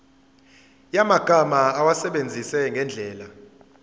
yamagama awasebenzise ngendlela